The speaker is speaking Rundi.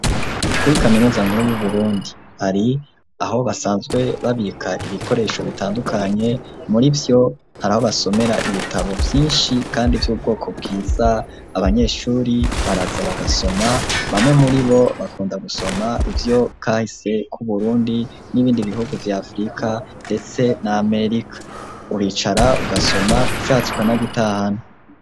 Kuri kaminuza nkuru yu Burundi hari aho basanzwe babika ibikoresho bitandukanye murivyo haraho basomera ibitabo vyishi kandi vy'ubwoko bwiza abanyeshuri baraza bagasoma bamwe muribo bakunda gusoma ivyo kahise k'uburundi n'ibindi bihugu vya afrika ndetse n'amerika uricara ugasoma ushatse ukana gitahana.